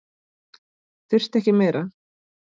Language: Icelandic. Þurfti ekki meira.